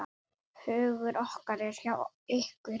Hugur okkar er hjá ykkur.